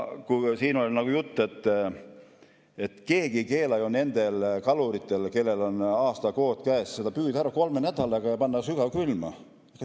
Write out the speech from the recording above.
Keegi ei keela ju nendel kaluritel, kellel on aastakvoot käes, seda püüda ära kolme nädalaga ja panna sügavkülma.